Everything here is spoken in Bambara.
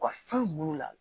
U ka fɛn mun la